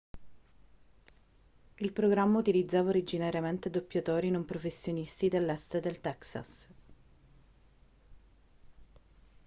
il programma utilizzava originariamente doppiatori non professionisti dell'est del texas